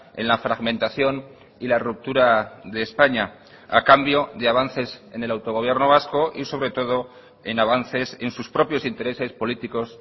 en la fragmentación y la ruptura de españa a cambio de avances en el autogobierno vasco y sobre todo en avances en sus propios intereses políticos